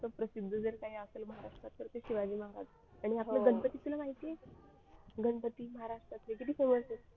प्रसिद्ध जर काही असेल महाराष्ट्रात तर ते शिवाजी महाराज आणि आपलं गणपती तुला माहिती आहे गणपती महाराष्ट्रातील किती famous आहेत.